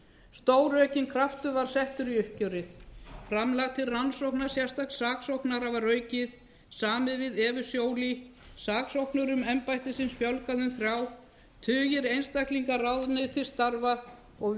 stóraukinn kraftur var settur í uppgjör framlag til rannsóknar sérstaks saksóknara var aukið samið við evu joly saksóknurum embættisins fjölgað um þrjá tugir einstaklinga ráðnir til starfa og